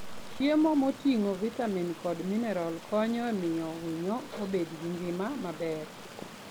Chiemo moting'o vitamin kod mineral konyo e miyo winyo obed gi ngima maber.